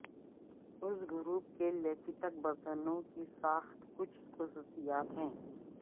اس group کے lymphatic برتنوں کی ساخت کچھ خصوصیات ہیں